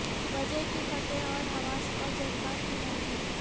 وجہ کی فتح اور حواس اور جذبات کی مرضی